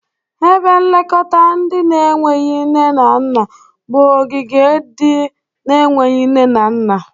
Ebe nlekọta ndị na-enweghi nne na nna bụ ogige ndị na-enweghi nne na nna.